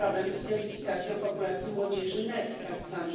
problem z identyfikacją populacji młodzieży NEET, tzw.